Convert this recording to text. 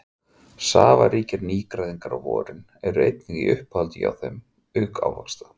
Safaríkir nýgræðingar á vorin eru einnig í uppáhaldi hjá þeim auk ávaxta.